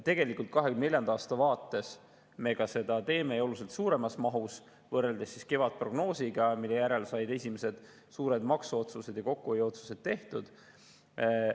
2024. aasta vaates me seda ka teeme ja oluliselt suuremas mahus, võrreldes kevadprognoosiga, kui said esimesed suured maksuotsused ja kokkuhoiuotsused tehtud.